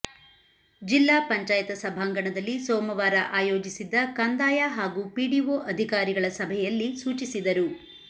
ಜಿಲ್ಲಾ ಪಂಚಾಯತ ಸಭಾಂಗಣದಲ್ಲಿ ಸೋಮವಾರ ಆಯೋಜಿಸಿದ್ದ ಕಂದಾಯ ಹಾಗೂ ಪಿಡಿಓ ಅಧಿಕಾರಿಗಳ ಸಭೆಯಲ್ಲಿ ಸೂಚಿಸಿದರು